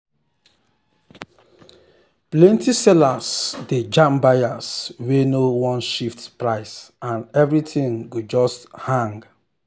plenty sellers dey jam buyers wey no wan shift price and everything go just hang.